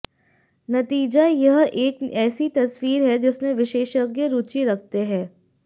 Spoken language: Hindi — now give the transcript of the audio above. नतीजा यह एक ऐसी तस्वीर है जिसमें विशेषज्ञ रुचि रखते हैं